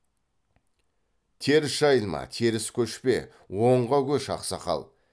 теріс жайылма теріс көшпе оңға көш ақсақал